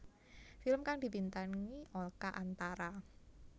Film kang dibintangi Oka Antara